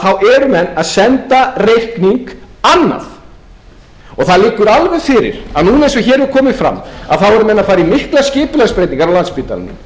þá eru menn að senda reikning annað og það liggur alveg fyrir að núna eins og hér hefur komið fram eru menn að fara í miklar skipulagsbreytingar á landspítalanum